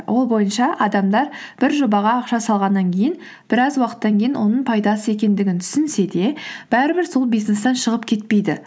ол бойынша адамдар бір жобаға ақша салғаннан кейін біраз уақыттан кейін оның пайдасыз екендігін түсінсе де бәрібір сол бизнестен шығып кетпейді